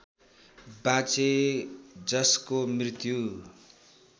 बाँचे जसको मृत्यु